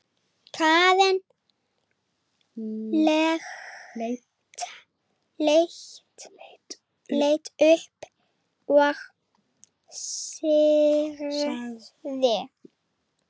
Karen leit upp og sagði